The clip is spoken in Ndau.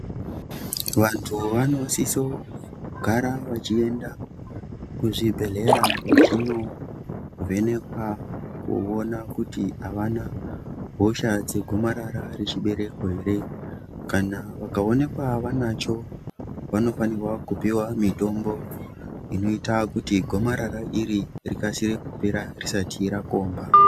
Vantu vanosiso gara vachienda ku zvibhedhlera vachino vhenekwa kuona kuti avana hosha dze gomarara re chibereko ere kana vaka onekwa vanacho vanofanirwa kupiwa mitombo inoita kuti gomarara iri rikasire kupera risati rakomba.